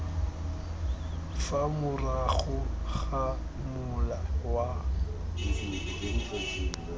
fa morago ga mola wa